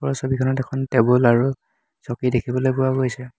ওপৰৰ ছবিখনত এখন টেবুল আৰু চকী দেখিবলৈ পোৱা গৈছে।